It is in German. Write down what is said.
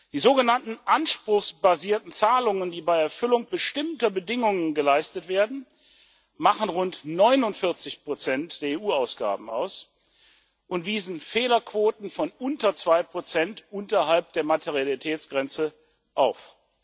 Die sogenannten anspruchsbasierten Zahlungen, die bei Erfüllung bestimmter Bedingungen geleistet werden, machen rund 49 der EU Ausgaben aus und wiesen Fehlerquoten von unter 2 unterhalb der Materialitätsgrenze, auf.